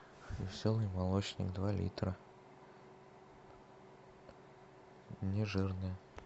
веселый молочник два литра не жирный